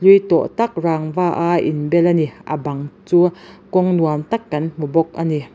hlui tawh tak rangva a inbel a ni a bang chu kawng nuam tak kan hmu bawk a ni.